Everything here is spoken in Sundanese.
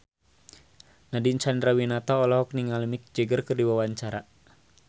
Nadine Chandrawinata olohok ningali Mick Jagger keur diwawancara